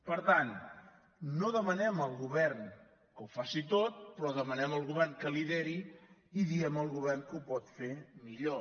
per tant no demanem al govern que ho faci tot però demanem al govern que lideri i diem al govern que ho pot fer millor